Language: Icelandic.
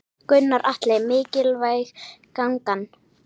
Gunnar Atli: Mikilvæg gangan?